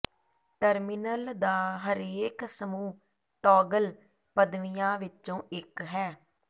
terminal ਦਾ ਹਰੇਕ ਸਮੂਹ ਟੌਗਲ ਪਦਵੀਆਂ ਵਿੱਚੋਂ ਇਕ ਹੈ